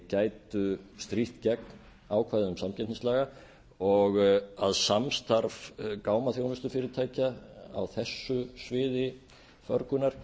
gætu strítt gegn ákvæðum samkeppnislaga og að samstarf gámaþjónustufyrirtækja á þessu sviði förgunar